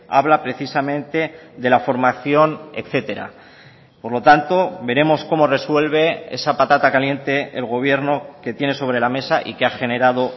habla precisamente de la formación etcétera por lo tanto veremos cómo resuelve esa patata caliente el gobierno que tiene sobre la mesa y que ha generado